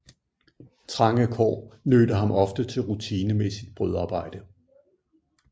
Trange kår nødte ham ofte til rutinemæssigt brødarbejde